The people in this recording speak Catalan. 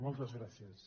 moltes gràcies